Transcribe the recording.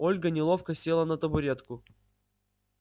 ольга неловко села на табуретку